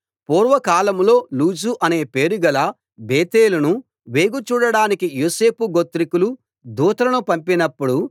పూర్వకాలంలో లూజు అనే పేరుగల బేతేలును వేగు చూడడానికి యోసేపు గోత్రికులు దూతలను పంపినప్పుడు